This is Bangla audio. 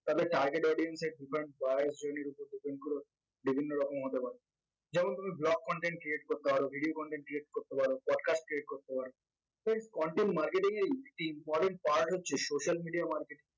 তাদের target audience এর শ্রেণীর উপর depend করেও বিভিন্ন রকম হতে পারে যেমন তুমি blog content create করতে পারো video content create করতে পারো podcast create করতে পারো friends content marketing এর important part হচ্ছে social media marketing